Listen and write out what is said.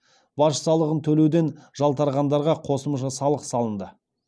баж салығын төлеуден жалтарғандарға қосымша салық салынды